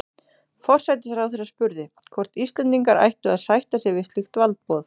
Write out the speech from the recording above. Forsætisráðherra spurði, hvort Íslendingar ættu að sætta sig við slíkt valdboð